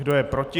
Kdo je proti?